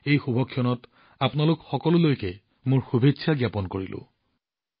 এই শুভ ক্ষণত আপোনালোক সকলোলৈ মোৰ শুভেচ্ছা জ্ঞাপন কৰিলোঁ